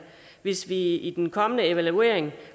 hvis vi i den kommende evaluering